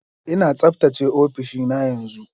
Ina tsaftace ofishina yanzu.